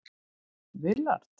Willard